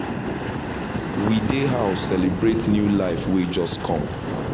we dey house celebrate new life wey just com